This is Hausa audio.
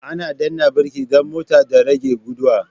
Ana danna birki dan mota da rage gudu